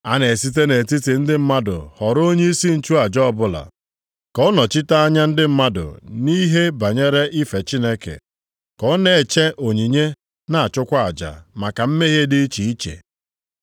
A na-esite nʼetiti ndị mmadụ họrọ onyeisi nchụaja ọbụla, ka ọ nnọchite anya ndị mmadụ nʼihe banyere ife Chineke, ka ọ na-eche onyinye na-achụkwa aja maka mmehie dị iche iche.